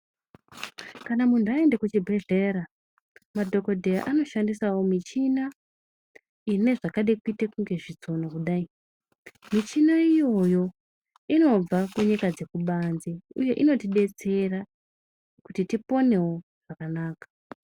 Kana muntu aende kuchibhedhlera, madhokodheya anoshandisawo michina ine zvakade kuite kunge zvitsono kudai. Michina iyoyo inobva kunyika dzekubanze uye inotibetsera kuti tiponewo zvakanaka.